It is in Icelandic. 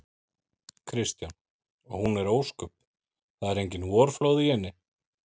Kristján: Og hún er ósköp. það eru engin vorflóð í henni?